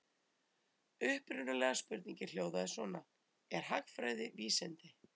Upprunalega spurningin hljóðaði svona: Er hagfræði vísindi?